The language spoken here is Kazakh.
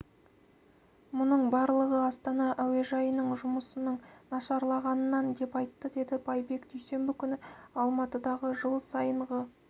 мұның барлығы астана әуежайының жұмысының нашарлығынан деп айтты деді байбек дүйсенбі күні алматыдағы жыл сайынғы